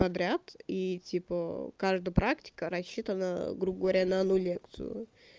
подряд и типа каждую практика рассчитана грубо говоря на одну лекцию